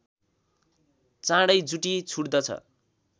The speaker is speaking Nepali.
चाँडै जुटी छुट्दछ